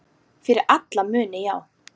Fyrir alla muni, já.